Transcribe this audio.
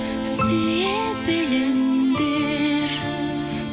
сүйе біліңдер